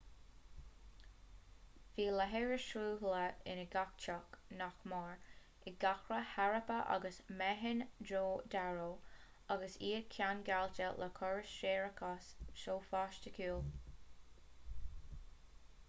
bhí leithreas sruthlaithe i ngach teach nach mór i gcathracha harappa agus mohenjo-daro agus iad ceangailte le córas séarachais sofaisticiúil